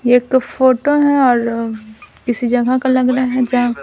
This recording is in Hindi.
ये एक फोटो है और किसी जगह का लग रहा है जहां--